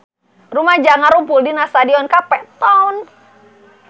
Rumaja ngarumpul di Stadion Cape Town